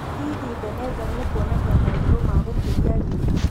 Hihi Beneza nĩekwonania moorirũ maagũkĩria Real?